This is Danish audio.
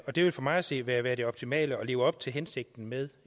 og det ville for mig at se være være det optimale og leve op til hensigten med